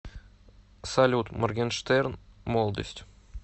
салют моргенштерн молодость